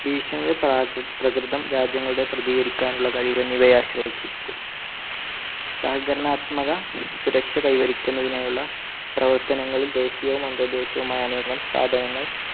ഭീഷണിയുടെ പ്രകൃതം, രാജ്യങ്ങളുടെ പ്രതികരിക്കാനുള്ള കഴിവ് എന്നിവയെ ആശ്രയിച്ചിരിക്കും. സഹകരണാത്മക സുരക്ഷ കൈവരിക്കുന്നതിനുള്ള പ്രവർത്തനങ്ങളിൽ ദേശീയവും അന്തർദേശീയവുമായ അനേകം സ്ഥാപനങ്ങൾ